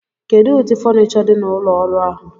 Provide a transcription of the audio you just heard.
Kedu ụdị fonicho dị na ụlọ ọrụ ahụ?